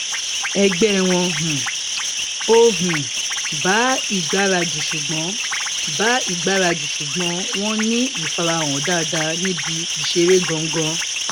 ẹgbẹ wọn um ò um bá ìgbáradì ṣùgbón bá ìgbáradì ṣùgbón wọn ní ìfarahàn dáadáa níbi ìṣeré gangan